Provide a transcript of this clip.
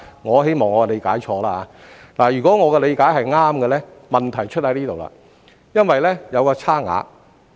我希望我的理解是錯的，但如果我的理解是對的話，問題便會出現，因為票價會有差異。